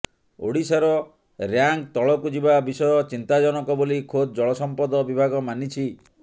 ଓଡ଼ିଶାର ରାଙ୍କ ତଳକୁ ଯିବା ବିଷୟ ଚିନ୍ତାଜନକ ବୋଲି ଖୋଦ ଜଳସଂପଦ ବିଭାଗ ମାନିଛି